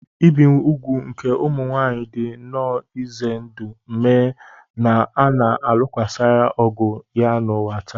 Ibi úgwù nke ụmụ nwaanyị dị nnọọ ize ndụ ma na a na-alụsokarị ọgụ ya n'ụwa taa.